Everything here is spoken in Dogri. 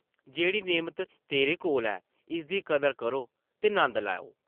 जेह्ड़ी नेमत तेरे कोल ऐ इसदी कदर करो ते नंद लैओ ।